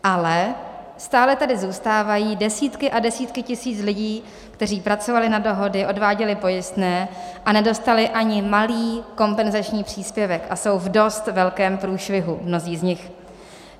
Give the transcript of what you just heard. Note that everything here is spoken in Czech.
Ale stále tady zůstávají desítky a desítky tisíc lidí, kteří pracovali na dohody, odváděli pojistné a nedostali ani malý kompenzační příspěvek a jsou v dost velkém průšvihu, mnozí z nich.